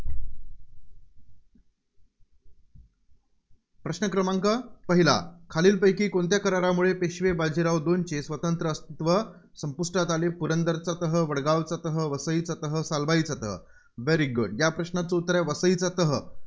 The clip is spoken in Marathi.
प्रश्न क्रमांक पहिला. खालील पैकी कोणत्या करारामुळे पेशवे बाजीराव दोनचे स्वतंत्र अस्तित्व संपुष्टात आले. पुरंदरचा तह, वडगावचा तह, वसईचा तह, सालभाईचा तह. very good या प्रश्नाचं उत्तर आहे, वसईचा तह.